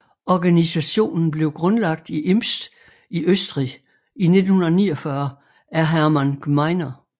Organisationen blev grundlagt i Imst i Østrig i 1949 af Hermann Gmeiner